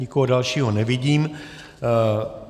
Nikoho dalšího nevidím.